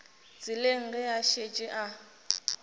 tseleng ge a šetše a